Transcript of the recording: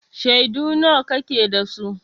Shaidu nawa kake da su?